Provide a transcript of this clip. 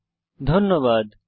অংশগ্রহনের জন্য ধন্যবাদ